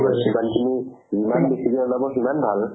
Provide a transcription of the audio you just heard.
যিমানখিনি যিমান যাব সিমান ভাল